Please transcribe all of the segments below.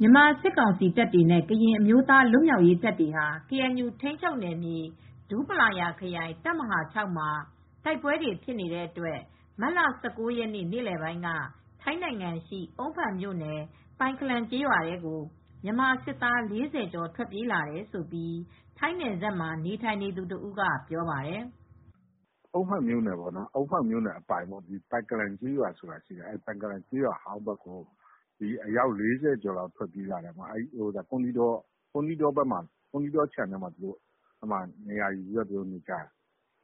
မြန်မာစစ်ကောင်စီတပ်တွေနဲ့ ကရင်အမျိုးသားလွတ်မြောက်ရေးတပ်တွေဟာ ကေအန်ယူထိန်းချုပ်နယ်မြေ ဒူးပလာယာခရိုင် တပ်မဟာ မှာ တိုက်ပွဲတွေဖြစ်နေတဲ့အတွက် မတ်လ ၁၉ ရက်နေ့ နေလည်ပိုင်းက ထိုင်းနိုင်ငံရှိ အုန်းဖန်မြို့နယ် ပိုင်ခလန်ကျေးရွာထဲကို မြန်မာစစ်သား ၄၀ကျော် ထွက်ပြေးလာတယ်လို့ ထိုင်းနယ်စပ်မှာနေထိုင်နေသူတဦးကပြောပြပါတယ်။ "အုန်းဖန်မြို့နယ်အပိုင် ပိုင်ကလန်ကျေးရွာဆိုတာရှိတယ် ပိုင်ခလန်ကျေးရွာအဟောင်းဘက်ကို အယောက် ၄၀ကျော်ထွက်ပြေးလာတယ် အဲဒီကွမ်းသီးခြံဘက်မှာနေရာယူထားတယ်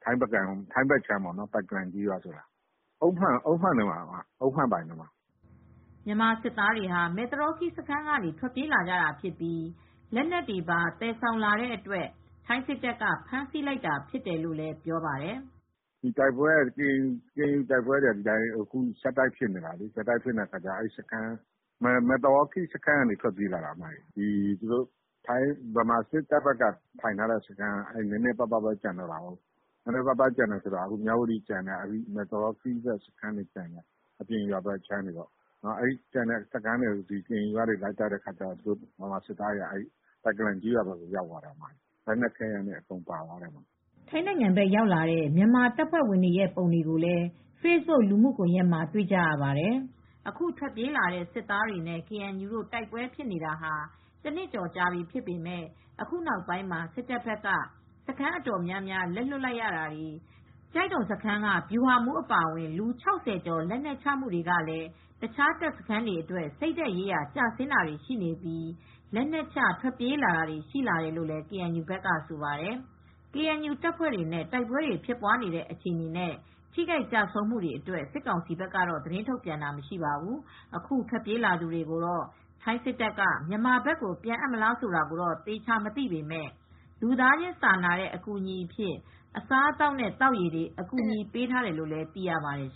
ထိုင်းဘက်ခြမ်း အုန်းဖန်အပိုင်ပေါ့" မြန်မာစစ်သားတွေဟာမဲသရောခီးစခန်းကနေ ထွက်ပြေးလာကြတာဖြစ်ပြီးလက်နက်တွေပါသယ်ဆောင်လာတဲ့အတွက် ထိုင်းစစ်တပ်က ဖမ်းဆီးလိုက်တာဖြစ်တယ်လို့ပြောပါတယ်။ "ကေအန်ယူနဲ့ကတိုက်ပွဲတွေကဆက်တိုက်ဖြစ်နေတာ မဲသရောခီးစခန်းကနေထွက်ပြေးလာတာ သူတို့မြန်မာဘက်ကစစ်စခန်းတွေက နည်းနည်းပဲကျန်တော့တယ် မြဝတီကျန်တယ် မဲသရောခီးစခန်းတွေကျန်တယ် အဲဒီမှာ ကေအန်ယူက လိုက်တိုက်တော့ မြန်မာစစ်တပ်ကလူတွေက ပိုင်ကလန်ကျေးရွာဘက်ကို ထွက်ပြေးလာကြတာပါ။" ထိုင်းနိုင်ငံဘက် ရောက်လာတဲ့ မြန်မာတပ်ဖွဲ့ဝင်တွေရဲ့ ပုံတွေကိုလည်း Facebook လူမှုကွန်ရက်မှာ တွေ့ကြရပါတယ်။ အားလုံးပေါင်း ၄၅ယောက် ရှိတယ်လို့လည်းဆိုပါတယ်။ အခုထွက်ပြေးလာတဲ့ စစ်သားတွေနဲ့ ကေအန်ယူတို့တိုက်ပွဲဖြစ်နေတာ ဟာ တနှစ်ကျော်ကြာပြီဖြစ်ပေမဲ့ အခုနောက်ပိုင်းမှာစစ်တပ်ဘက်ကစခန်းအတော်များများ လက်လွှတ်လိုက်ရတာတွေ ကျိုက်ဒုံစခန်းက ဗျူဟာမှူးအပါအဝင် လူ ၆၀ ကျော်လက်နက်ချမှုတွေကလည်း တခြားတပ်စခန်းတွေအတွက် စိတ်ဓါတ်ရေးရာကျဆင်းတာတွေရှိပြီး လက်နက်ချထွက်ပြေးတာတွေရှိလာတယ်လို့ ကေအန်ယူဘက်ကလည်းဆိုပါတယ် ။ KNU တပ်ဖွဲ့တွေနဲ့ တိုက်ပွဲတွေဖြစ်ပွားနေတဲ့ အခြေအနေနဲ့ ထိခိုက်ကျဆုံးမှုတွေအတွက် စစ်ကောင်စီက သတင်းထုတ်ပြန်တာတော့ မရှိပါဘူး။ အခုထွက်ပြေးလာသူတွေကိုတော့ထိုင်းစစ်တပ်ကမြန်မာဘက်ကိုပြန်အပ်မလားဆိုတာတော့သေချာမသိပေမဲ့ လူသားချင်းစာနာတဲ့အကူအညီအဖြစ် အစားအသောက်နဲ့သောက်ရေတွေ ကူညီပေးထားတယ်လို့သိရပါတယ်